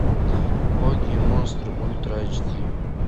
боги и монстры ультра айч ди